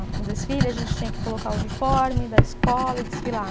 O desfile, a gente tinha que colocar o uniforme da escola e desfilar.